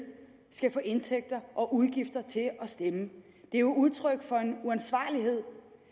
skal få indtægter og udgifter til at stemme det er jo udtryk for en uansvarlighed